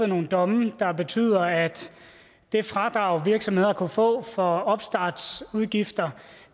nogle domme der betyder at det fradrag virksomheder kunne få for opstartsudgifter